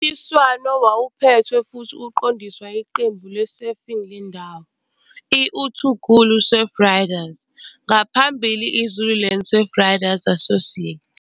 Mncintiswano wawuphethwe futhi uqondiswa yiqembu le-surfing lendawo, i-uThungulu Surfriders, ngaphambili i-Zululand Surfriders Association.